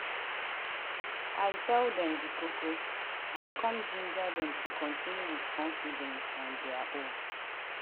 i tell them the koko i come ginger them to continue with confidence on dia own.